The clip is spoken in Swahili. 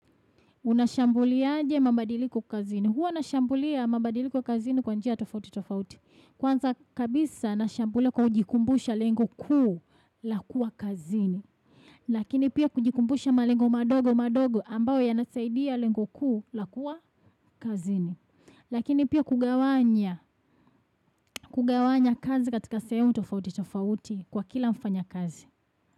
Unashambuliaje mabadiliko kazini. Huwa nashambulia mabadiliko kazini kwa njia tofauti tofauti. Kwanza kabisa nashambulia kwa kujikumbusha lengo kuu la kuwa kazini. Lakini pia kujikumbusha malengo madogo madogo ambayo yanasaidia lengo kuu la kuwa kazini. Lakini pia kugawanya kazi katika sehemu tofauti tofauti kwa kila mfanya kazi.